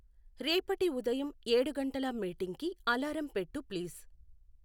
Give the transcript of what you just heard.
రేపటి ఉదయం ఏడు గంటల మీటింగ్కి అలారం పెట్టు ప్లీజ్